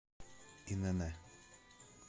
инн